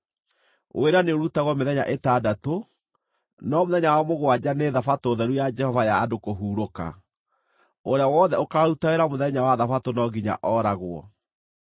Wĩra nĩũrutagwo mĩthenya ĩtandatũ, no mũthenya wa mũgwanja nĩ Thabatũ theru ya Jehova ya andũ kũhurũka. Ũrĩa wothe ũkaaruta wĩra mũthenya wa Thabatũ no nginya ooragwo.